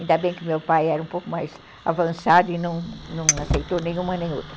Ainda bem que meu pai era um pouco mais avançado e não não aceitou nenhuma nem outra.